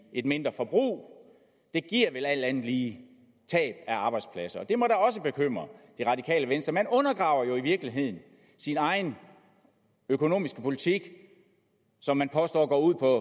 et mindre forbrug det giver vel alt andet lige tab af arbejdspladser det må da også bekymre det radikale venstre man undergraver jo i virkeligheden sin egen økonomiske politik som man påstår går ud på